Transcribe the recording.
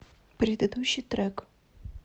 предыдущий трек